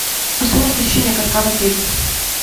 стоимость посещения катка в отеле